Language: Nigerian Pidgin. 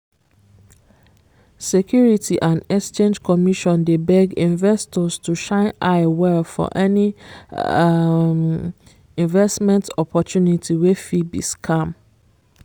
security and exchange commission dey beg investors to shine eye well for any um investment opportunity wey fit be scam